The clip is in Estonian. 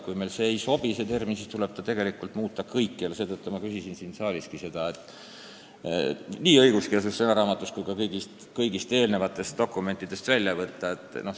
Kui meile ei sobi see termin, siis tuleks selle tähendust muuta kõikjal – seetõttu ma küsisin siin saaliski seda – või see nii õigekeelsussõnaraamatust kui ka kõigist dokumentidest välja võtta.